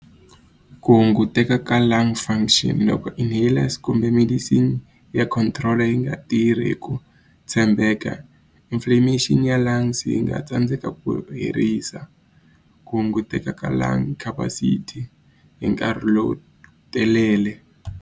Ku hunguteka ka lung function loko enhalers kumbe medicine ya control yi nga tirhi hi ku tshembeka inflammation ya lungs yi nga tsandzeka ku herisa ku hunguteka ka lung capacity hi nkarhi lowu telele.